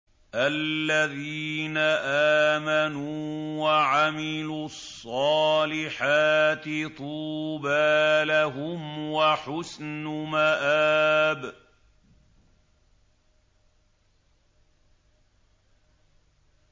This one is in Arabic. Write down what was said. الَّذِينَ آمَنُوا وَعَمِلُوا الصَّالِحَاتِ طُوبَىٰ لَهُمْ وَحُسْنُ مَآبٍ